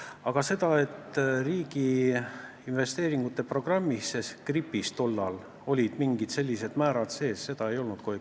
Aga seda, et riigi investeeringute programmis ehk RIP-is oleks tollal mingid sellised määrad sees olnud, ei olnud.